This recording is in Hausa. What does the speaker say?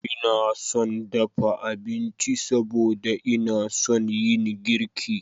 Ina son dafa abinci saboda ina son yin girki.